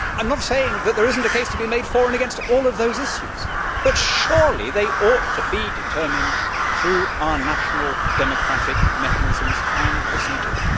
I am not saying that there is not a case to be made for and against all of those issues, but surely they ought to be determined through our national democratic mechanisms and procedures?